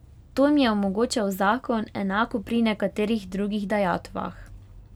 To jim je omogočal zakon, enako pri nekaterih drugih dajatvah.